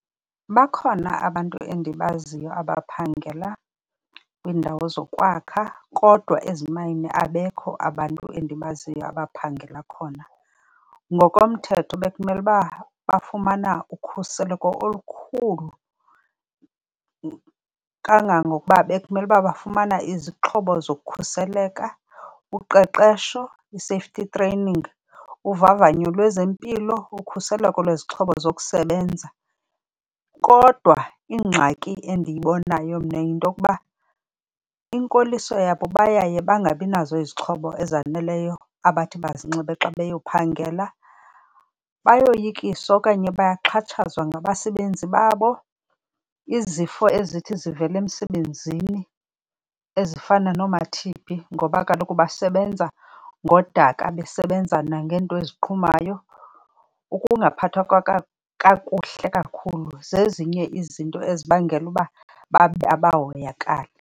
Bakhona abantu endibaziyo abaphangela kwiindawo zokwakha kodwa ezimayini abekho abantu endibaziyo abaphangela khona. Ngokomthetho bekumele uba bafumana ukhuseleko olukhulu. Kangangokuba bekumele uba bafumana izixhobo zokukhuseleka, uqeqesho i-safety training, uvavanyo lwezempilo, ukhuseleko lwezixhobo zokusebenza. Kodwa ingxaki endiyibonayo mna yintokuba inkoliso yabo bayaye bangabinazo izixhobo ezaneleyo abathi bazinxibe xa beyophangela. Bayoyikiswa okanye bayaxhatshazwa ngabasebenzi babo, izifo ezithi zivele emsebenzini ezifana nooma-T_B ngoba kaloku basebenza ngodaka, besebenza nangento eziqhumayo, ukungaphathwa kakuhle kakhulu zezinye izinto ezibangela ukuba babe abahoyakali.